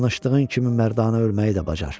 Danışdığın kimi mərdanə ölməyi də bacar.